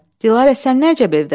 Dilarə, sən nə əcəb evdəsən?